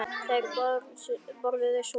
Þeir borðuðu súpu.